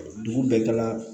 Dugu bɛɛ ka